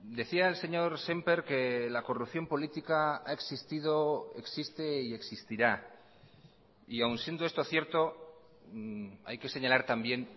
decía el señor semper que la corrupción política ha existido existe y existirá y aun siendo esto cierto hay que señalar también